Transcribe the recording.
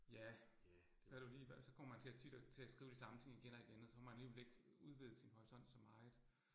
Ja. Så det jo lige, hvad så kommer man til at tit til at skrive de samme ting igen og igen, og så får man alligevel ikke udvidet sin horisont så meget